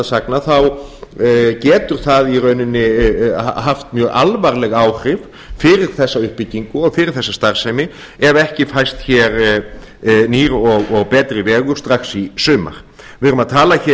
sagna þá getur það í rauninni haft mjög alvarleg áhrif fyrir þessa uppbyggingu og fyrir þessa starfsemi ef ekki fæst hér nýr og betri vegur strax í sumar við erum að tala hér